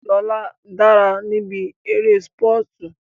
Lóla dára níbi eré sípọ̀tù